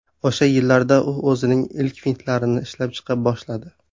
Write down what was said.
O‘sha yillarda u o‘zining ilk fintlarini ishlab chiqa boshladi.